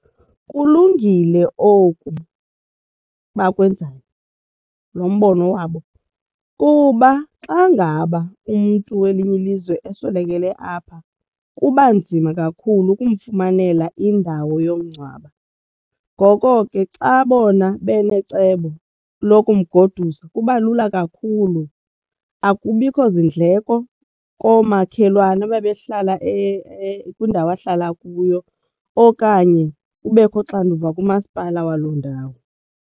Kulungile oku bakwenzayo lo mbono wabo kuba xa ngaba umntu welinye ilizwe eswelekele apha kuba nzima kakhulu ukumfumanela indawo yokumngcwaba. Ngoko ke xa bona benecebo lokumgoduse kuba lula kakhulu akubikho zindleko koomakhelwane ababehlala kwiindawo ahlala kuyo okanye kubekho uxanduva kumasipala waloo ndawo.